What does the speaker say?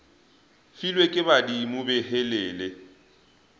filwe ke badimo be helele